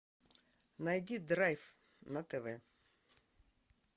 найди драйв на тв